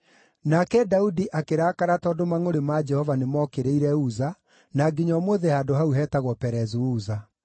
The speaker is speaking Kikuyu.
Nake Daudi akĩrakara tondũ mangʼũrĩ ma Jehova nĩmookĩrĩire Uza, na nginya ũmũthĩ handũ hau hetagwo Perezu-Uza.